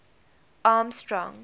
armstrong